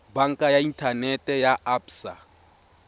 banka ya inthanete ya absa